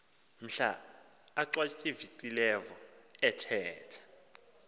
mhla achwavitilevo ethetha